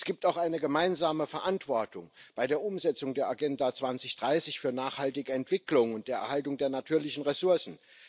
Es gibt auch eine gemeinsame Verantwortung bei der Umsetzung der Agenda 2030 für nachhaltige Entwicklung und der Erhaltung der natürlichen Ressourcen.